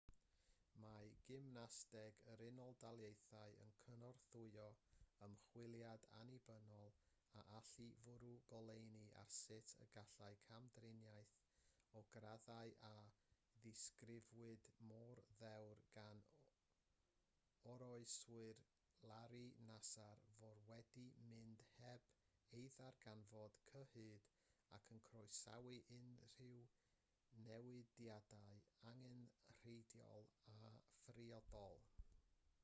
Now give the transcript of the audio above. mae gymnasteg yr unol daleithiau yn cynorthwyo ymchwiliad annibynnol a allai fwrw goleuni ar sut y gallai camdriniaeth o'r graddau a ddisgrifiwyd mor ddewr gan oroeswyr larry nassar fod wedi mynd heb ei ddarganfod cyhyd ac yn croesawu unrhyw newidiadau angenrheidiol a phriodol